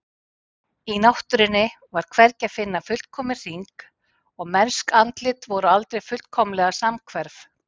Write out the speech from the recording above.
Í náttúrunni var hvergi að finna fullkominn hring og mennsk andlit voru aldrei fullkomlega samhverf.